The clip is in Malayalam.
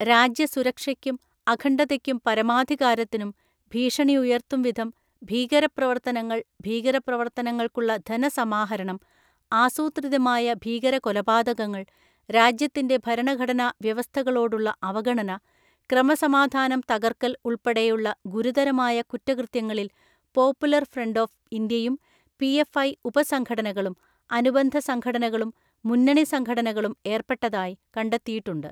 രാജ്യ സുരക്ഷയ്ക്കും അഖണ്ഡതയ്ക്കും പരമാധികാരത്തിനും ഭീഷണിയുയർത്തും വിധം, ഭീകരപ്രവർത്തനങ്ങൾ, ഭീകരപ്രവർത്തനങ്ങൾക്കുള്ള ധനസമാഹരണം, ആസൂത്രിതമായ ഭീകര കൊലപാതകങ്ങൾ, രാജ്യത്തിന്റെ ഭരണഘടനാ വ്യവസ്ഥകളോടുള്ള അവഗണന, ക്രമസമാധാനം തകർക്കൽ ഉൾപ്പെടെയുള്ള ഗുരുതരമായ കുറ്റകൃത്യങ്ങളിൽ പോപ്പുലർ ഫ്രണ്ട് ഓഫ് ഇന്ത്യയും പി എഫ് ഐ ഉപസംഘടനകളും അനുബന്ധ സംഘടനകളും മുന്നണി സംഘടനകളും ഏർപ്പെട്ടതായി കണ്ടെത്തിയിട്ടുണ്ട്.